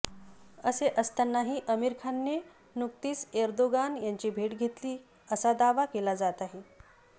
असे असतानाही आमिर खानने नुकतीच एर्दोगान यांची भेट घेतली असा दावा केला जात आहे